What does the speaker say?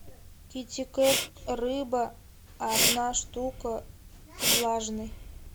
китикет рыба одна штука влажный